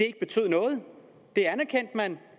ikke betyder noget det anerkendte man